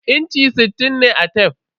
Inchi sittin ne a tef.